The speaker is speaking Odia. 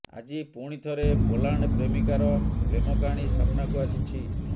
ଆଜି ପୁଣିଥରେ ପୋଲାଣ୍ଡ୍ ପ୍ରେମିକାର ପ୍ରେମ କାହାଣୀ ସାମ୍ନାକୁ ଆସିଛି